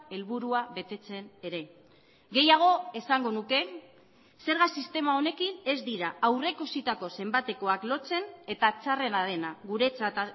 helburua betetzen ere gehiago esango nuke zerga sistema honekin ez dira aurreikusitako zenbatekoak lotzen eta txarrena dena guretzat